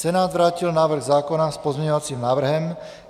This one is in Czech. Senát vrátil návrh zákona s pozměňovacím návrhem.